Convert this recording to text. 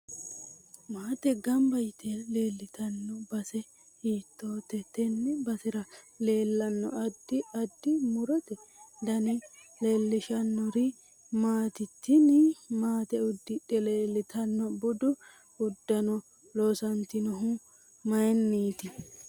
Maate ganbba yitel leeltano base hiitoote tenne basera leelanno addi addi murote dani leelishanori maati tini maate uddidhe leeltanno budu uddano loosantinohu mayiiniiti